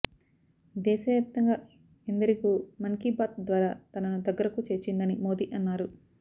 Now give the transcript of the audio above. దేశవ్యాప్తంగా ఎందరికో మన్కీబాత్ ద్వారా తనను దగ్గరకు చేర్చిందని మోదీ అన్నారు